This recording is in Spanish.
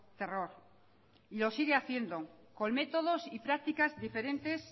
terror y lo sigue haciendo con métodos y prácticas diferentes